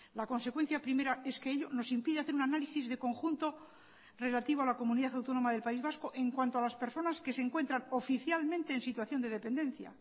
la consecuencia primera es que ello nos impide hacer un análisis de conjunto relativo a la comunidad autónoma del país vasco en cuanto a las personas que se encuentran oficialmente en situación de dependencia